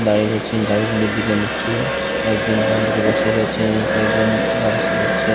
দাঁড়িয়ে রয়েছেন গাড়ির মুখ চেয়ে একজন বাঁ দিকে বসে রয়েছেন ও কয়েকজন যাওয়া আসা করছে ।